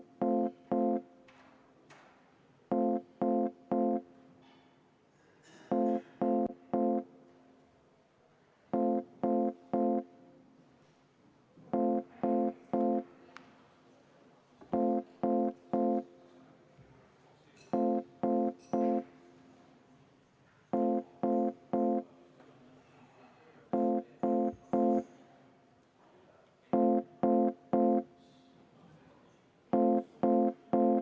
Määran muudatusettepanekute esitamise tähtajaks k.a 16. novembri kell 15.